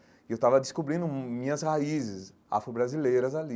E eu estava descobrindo minhas raízes afro-brasileiras ali.